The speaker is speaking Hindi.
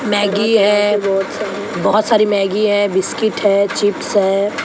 मैगी है बहोत सारी मैगी है बिस्किट है चिप्स है।